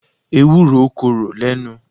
Ewúro korò lẹ́nu